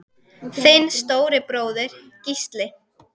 Þinn stóri bróðir, Gísli.